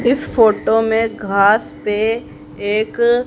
इस फोटो में घास पे एक--